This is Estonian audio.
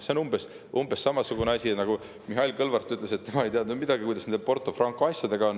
See on umbes samamoodi, nagu siis, kui Mihhail Kõlvart ütles, et tema ei teadnud nendest Porto Franco asjadest midagi.